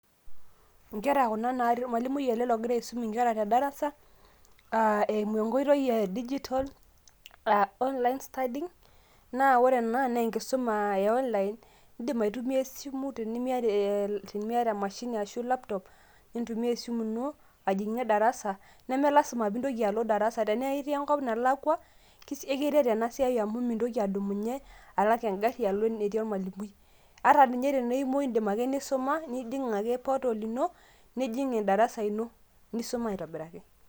Inkera kuna natii ormalimui ele ogira aisum inkera tedarasa, ah eimu enkoitoi e digital ,ah online studying ,na ore ena na enkisuma e online ,idim aitumia esimu tenimiata emashini ashu laptop, nintumia esimu ino ajing'ie darasa, neme lasima pintoki alo darasa, tenaa etii enkop nalakwa, ekiret enasiai amu mintoki adumunye, alak egarri alo enetii olmalimui. Ata ninye ta imoi idim ake nisuma, nijing' ake portal ino, nijing' edarasa ino. Nisuma aitobiraki.